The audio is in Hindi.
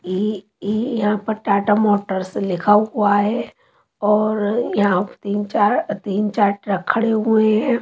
ये ये यहां पर टाटा मोटर्स लिखा हुआ है और यहां तीन चार तीन चार ट्रक खड़े हुए हैं।